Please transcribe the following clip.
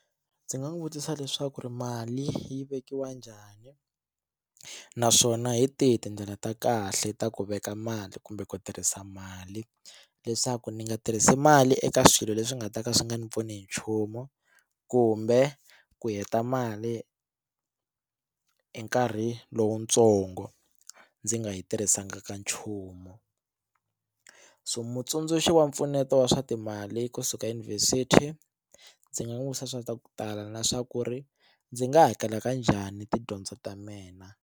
Ndzi nga n'wi vutisa leswaku ri mali yi vekiwa njhani naswona hi tihi tindlela ta kahle ta ku veka mali kumbe ku tirhisa mali leswaku ndzi nga tirhisi mali eka swilo leswi nga ta ka swi nga ni pfuni hi nchumu kumbe ku heta mali hi nkarhi lowutsongo ndzi nga yi tirhisanga ka nchumu so mutsundzuxi wa mpfuneto wa swa timali kusuka eyunivhesiti ndzi nga n'wi vutisa swa ku tala na swa ku ri ndzi nga hakela ka njhani tidyondzo ta mina.